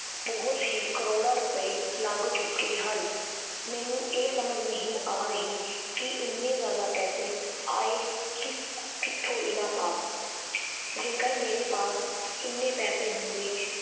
ਬਹੁਤ ਹੀ ਕਰੌੜਾਂ ਰੁਪਏ ਲੱਗ ਚੁੱਕੇ ਹਨ, ਮੈਨੂੰ ਇਹ ਸਮਝ ਨਹੀਂ ਆ ਰਹੀ ਕਿ ਇੰਨੇ ਜ਼ਿਆਦਾ ਪੈਸੇ ਆਏ ਕਿ ਕਿੱਥੋਂ ਇਹਨਾਂ ਪਾਸ ਜੇਕਰ ਮੇਰੇ ਪਾਸ ਇੰਨੇ ਪੈਸੇ ਹੁੰਦੇ